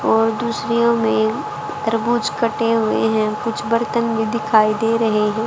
और दूसरीयों में तरबूज कटे हुए हैं कुछ बर्तन भी दिखाई दे रहे हैं।